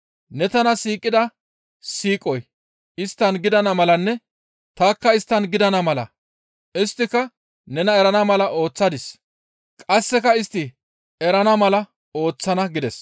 Ne tana siiqida siiqoy isttan gidana malanne tanikka isttan gidana mala isttika nena erana mala ooththadis. Qasseka istti erana mala ta ooththana» gides.